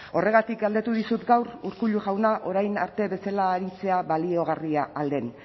horregatik galdetu dizut gaur urkullu jauna orain arte bezala aritzea baliogarria ahal den